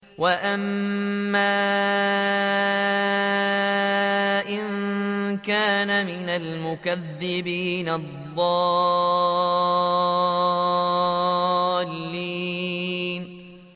وَأَمَّا إِن كَانَ مِنَ الْمُكَذِّبِينَ الضَّالِّينَ